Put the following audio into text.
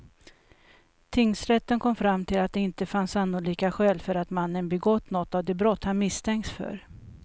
Tingsrätten kom fram till att det inte fanns sannolika skäl för att mannen begått något av de brott han misstänkts för.